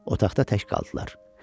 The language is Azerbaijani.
Otaqda tək qaldılar.